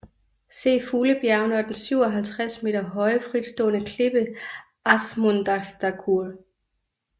Se fuglebjergene og den 57 m høje fritstående klippe Ásmundarstakkur